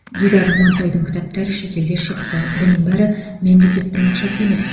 дидар амантайдың кітаптары шетелде шықты бұның бәрі мемлекеттің ақшасы емес